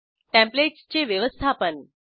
templates चे व्यवस्थापन